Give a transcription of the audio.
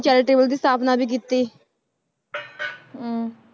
Charitable ਦੀ ਸਥਾਪਨਾ ਵੀ ਕੀਤੀ ਹਮ